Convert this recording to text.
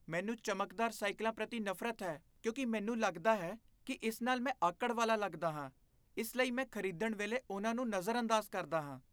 ਮੈਨੂੰ ਚਮਕਦਾਰ ਸਾਈਕਲਾਂ ਪ੍ਰਤੀ ਨਫ਼ਰਤ ਹੈ ਕਿਉਂਕਿ ਮੈਨੂੰ ਲੱਗਦਾ ਹੈ ਕਿ ਇਸ ਨਾਲ ਮੈਂ ਆਕੜ ਵਾਲਾ ਲੱਗਦਾ ਹਾਂ , ਇਸ ਲਈ ਮੈਂ ਖਰੀਦਣ ਵੇਲੇ ਉਹਨਾਂ ਨੂੰ ਨਜ਼ਰਅੰਦਾਜ਼ ਕਰਦਾ ਹਾਂ।